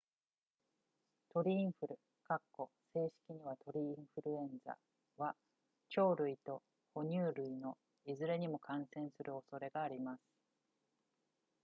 鳥インフル正式には鳥インフルエンザは鳥類と哺乳類のいずれにも感染する恐れがあります